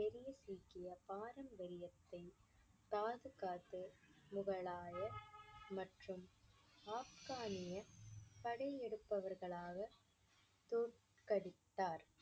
பெரிய சீக்கிய பாரம்பரியத்தை பாதுகாத்து முகலாயர் மற்றும் ஆப்கானிய படையெடுப்பவர்களாக தோற்கடித்தார்.